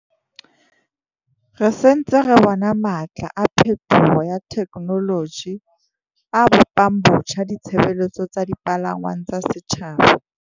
Re se ntse re bona matla a phethoho ya thekenoloji a bo pang botjha ditshebeletso tsa dipalangwang tsa setjhaba.